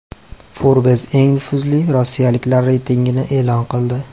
Forbes eng nufuzli rossiyaliklar reytingini e’lon qildi .